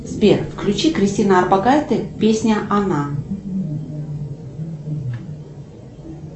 сбер включи кристина орбакайте песня она